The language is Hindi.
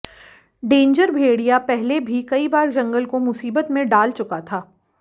डैंजर भेड़िया पहले भी कई बार जंगल को मुसीबत में डाल चुका था